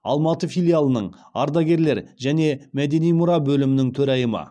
алматы филиалының ардагерлер және мәдени мұра бөлімінің төрайымы